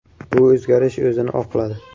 Bu o‘zgarish o‘zini oqladi.